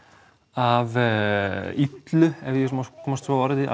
af illu ef ég má komast svo að orði